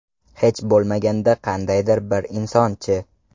Hech bo‘lmaganda qandaydir bir inson-chi?